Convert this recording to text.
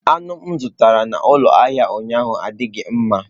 Anụ m zụtara n'ụlọ ahịa ụnyaahụ adịghị mma.